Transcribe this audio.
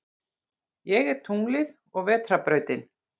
Ég er tunglið og vetrarbrautin.